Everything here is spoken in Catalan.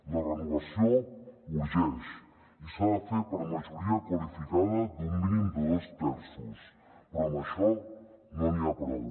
la renovació urgeix i s’ha de fer per la majoria qualificada d’un mínim de dos terços però amb això no n’hi ha prou